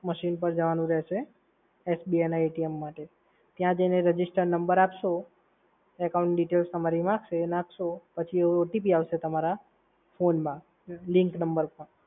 machine પર જવાનું રહેશે. SBI માટે, ત્યાં જઈને registered number આપશો, account details તમારી નાખશો પછી OTP આવશે તમારા ફોનમાં લિકન્ડ નંબર ઉપર.